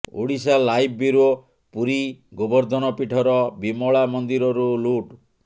Odisha live bureau Puri Gobardhan ପୀଠର ବିମଳା ମନ୍ଦିରରୁ ଲୁଟ୍